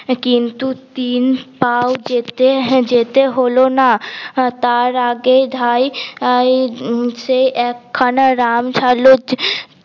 কিন্ত তিনপা ও যেতে যেতে হল না তার আগেই ধাই সে এক খানা রাম ছালদ